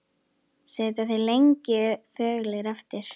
Sitja þeir lengi þögulir eftir.